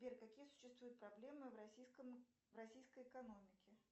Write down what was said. сбер какие существуют проблемы в российской экономике